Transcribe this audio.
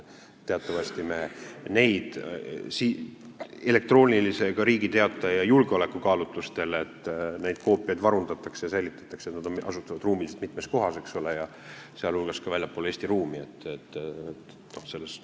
Elektroonilise Riigi Teataja koopiaid teatavasti julgeolekukaalutlustel varundatakse ja säilitatakse, need asuvad ruumiliselt mitmes kohas, eks ole, sealhulgas väljaspool Eesti ruumi.